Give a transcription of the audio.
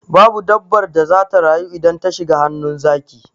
Babu dabbar da zata rayu idan ta shiga hannun zaki.